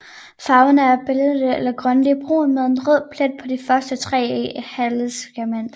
Farven er beige eller grønlig brun med en rød plet på de første tre halesegmenter